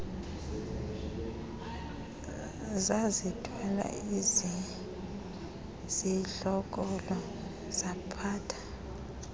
zazithwala izidlokolo ziphatha